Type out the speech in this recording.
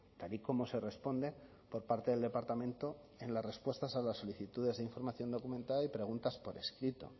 tal y como se responde por parte del departamento en las respuestas a las solicitudes de información documentada y preguntas por escrito